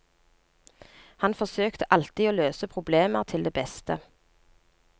Han forsøkte alltid å løse problemer til det beste.